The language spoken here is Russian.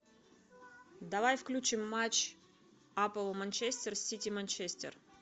давай включим матч апл манчестер сити манчестер